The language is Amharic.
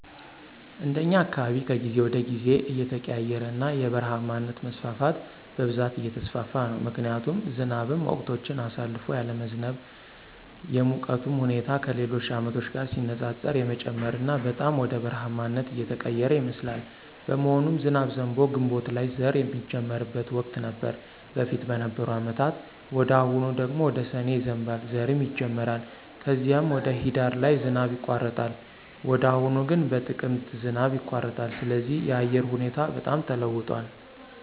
እንደኛ አካባቢ ከጊዜ ወደ ጊዜ እየተቀያየረና የበረሃማነት መስፋፋት በብዛት እየተስፋፋ ነው ምክንያቱም ዝናብም ወቅቶችን አሳልፎ ያለመዝነብ፣ የሙቀቱም ሁኔታ ከሌሎች አመቶች ጋር ሲነፃፀር የመጨመርና በጣም ወደ በረሐማነት እየተቀየረ ይመስላል። በመሆኑም ዝናብ ዘንቦ ግንቦት ላይ ዘር ሚጀመርበት ወቅት ነበር በፊት በነበሩ አመታት ወደ አሁኑ ደግሞ ወደ ሰኔ ይዘንባል ዘርም ይጀመራል ከዚም ወደ ሂዳር ላይ ዝናብ ይቋረጣል ወደ አሁኑ ግን በጥቅምት ዝናብ ይቋረጣል ስለዚህ የአየሩ ሁኔታ በጣም ተለዋውጧል